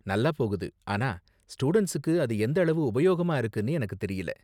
நல்லா போகுது, ஆனா ஸ்டூடண்ட்ஸுக்கு அது எந்த அளவு உபயோகமா இருக்குனு எனக்கு தெரியல.